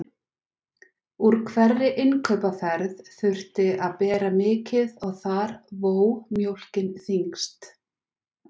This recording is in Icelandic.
Úr hverri innkaupaferð þurfti að bera mikið og þar vó mjólkin þyngst.